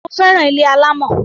Mo fẹ́ràn ilé alámọ̀.